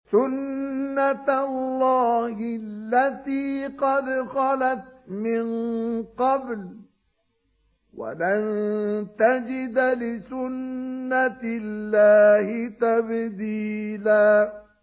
سُنَّةَ اللَّهِ الَّتِي قَدْ خَلَتْ مِن قَبْلُ ۖ وَلَن تَجِدَ لِسُنَّةِ اللَّهِ تَبْدِيلًا